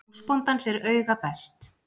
Húsbóndans er auga best .